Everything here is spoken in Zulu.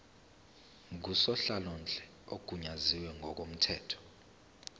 ngusonhlalonhle ogunyaziwe ngokomthetho